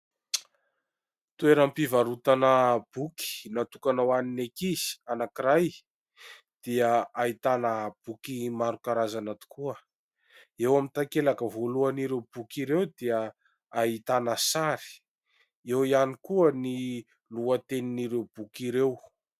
Toeram-pivarotana boky natokana ho an'ny ankizy anankiray, dia ahitana boky maro karazana tokoa. Eo amin'ny tankelaka voalohan'ireo boky ireo dia ahitana sary, eo ihany koa ny lohatenin'ireo boky ireo.